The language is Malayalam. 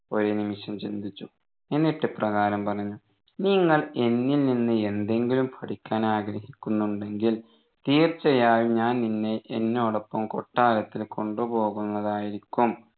ഒരു നിമിഷം ചിന്തിച്ചു എന്നിട്ട് ഇപ്രകാരം പറഞ്ഞു നിങ്ങൾ എന്നിൽ നിന്ന് എന്തെകിലും പഠിക്കാൻ ആഗ്രഹിക്കുണ്ടെങ്കിൽ തീർച്ചയായും ഞാൻ നിന്നെ എന്നോടൊപ്പം കൊട്ടാരത്തിൽ കൊണ്ടുപോകുന്നതായിരിക്കും